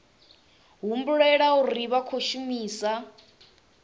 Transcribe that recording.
humbulela uri vha khou shumisa